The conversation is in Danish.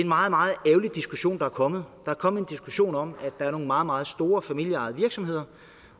meget meget ærgerlig diskussion der er kommet der er kommet en diskussion om at der er nogle meget meget store familieejede virksomheder